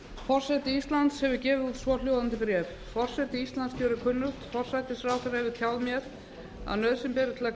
forseti íslands hefur gefið út svohljóðandi bréf forseti íslands gerir kunnugt forsætisráðherra hefur tjáð mér að nauðsyn beri til að